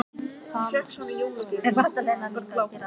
Brimrún, hefur þú prófað nýja leikinn?